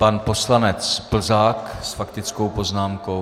Pan poslanec Plzák s faktickou poznámkou.